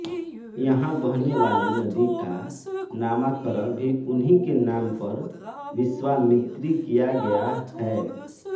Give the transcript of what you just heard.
यहाँ बहने वाली नदी का नामाकरण भी उन्हीं के नाम पर विश्वामित्री किया गया है